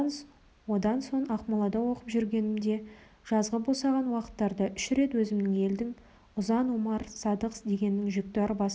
одан соң ақмолада оқып жүргенімде жазғы босаған уақыттарда үш рет өзіміздің елдің ұзын омар садық дегеннің жүкті арбасына